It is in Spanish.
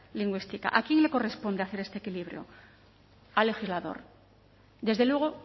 lingüística a quién le corresponde hacer este equilibrio al legislador desde luego